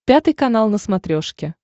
пятый канал на смотрешке